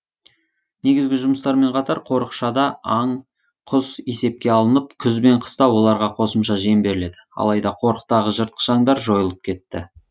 негізгі жұмыстармен қатар қорықшада аң құс есепке алынып күз бен қыста оларға қосымша жем беріледі алайда қорықтағы жыртқыш аңдар жойылып кетті